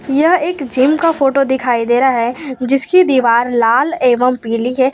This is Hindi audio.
यह एक जिम का फोटो दिखाई दे रा है जिसकी दीवार लाल एवं पीली है।